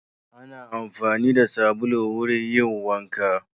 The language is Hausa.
Ana amfani da sabulu wurin yin wanka.